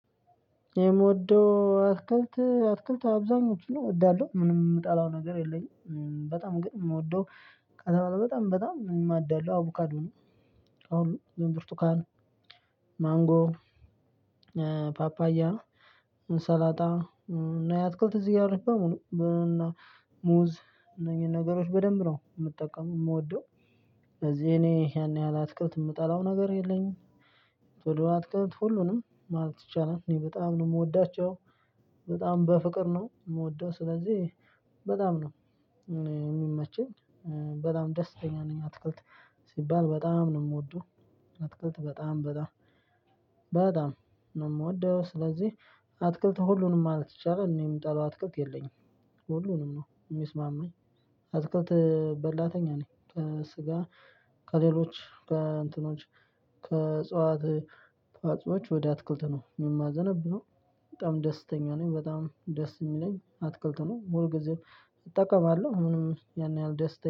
የምወደው አትክልት አትክልት አብዛኞቹን እወዳለሁ ምንም የምጠላው ነገር የለኝም በጣም ግን የምወደው በጣም በጣም የማዳላው አቡካዶ ነው። አሁን ብርቱካን ማንጎ ፓፓያ ሰላጣ እና ያትክልት እዚህ አለች በሙሉ እና ሙዝ እነዚህን ነገሮች በደንብ ነው መጠቀም የምወደው። እዚህ እኔ ያን ያህል አትክልት የምጠላው ነገር የለኝም። ቶሎ አትክልት ሁሉንም ማለት ይቻላል እኔ በጣም ነው የምወዳቸው። በጣም በፍቅር ነው የምወደው ስለዚህ በጣም ነው የሚመቸኝ። በጣም ደስተኛ ነኝ አትክልት ሲባል በጣም ነው የምወደው። አትክልት በጣም በጣም በጣም ነው የምወደው ስለዚህ አትክልት ሁሉንም ማለት ይቻላል እኔ የምጠላው አትክልት የለኝም። ሁሉንም ነው የሚስማማኝ አትክልት በላተኛ ነኝ። ስጋ ከሌሎች ከእንትኖች ከእጽዋት እጽዋቶች ወደ አትክልት ነው የማዘነብ ነው። በጣም ደስተኛ ነኝ በጣም ደስ የሚለኝ አትክልት ነው ሙሉ ጊዜም እጠቀማለሁ ምንም ያን ያህል ደስ